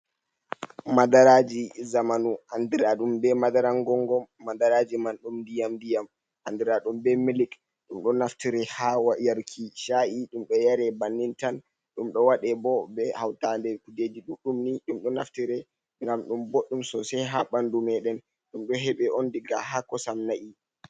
Madaraji zamanu andira ɗum be madara gongomi madaraji man ɗum diyam diyam andiraɗum be milik ɗum ɗo naftire ha yaruki sha’i, ɗum ɗo yare bannin tan, ɗum ɗo waɗe bo be hauta nde kujeji ɗuɗɗum ɗum ɗo naftire ngam ɗum boɗɗum sosai ha ɓandu meɗen ɗum ɗo heɓe on diga ha kosam na'i.